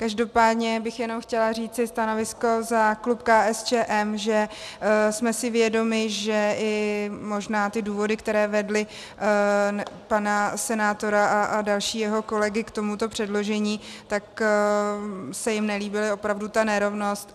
Každopádně bych jenom chtěla říci stanovisko za klub KSČM, že jsme si vědomi, že i možná ty důvody, které vedly pana senátora a další jeho kolegy k tomuto předložení, tak se jim nelíbila opravdu ta nerovnost.